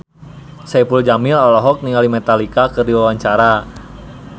Saipul Jamil olohok ningali Metallica keur diwawancara